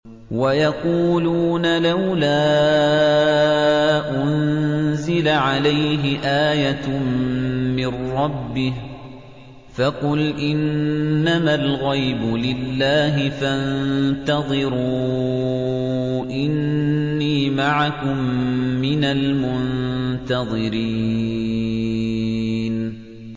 وَيَقُولُونَ لَوْلَا أُنزِلَ عَلَيْهِ آيَةٌ مِّن رَّبِّهِ ۖ فَقُلْ إِنَّمَا الْغَيْبُ لِلَّهِ فَانتَظِرُوا إِنِّي مَعَكُم مِّنَ الْمُنتَظِرِينَ